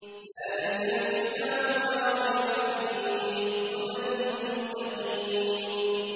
ذَٰلِكَ الْكِتَابُ لَا رَيْبَ ۛ فِيهِ ۛ هُدًى لِّلْمُتَّقِينَ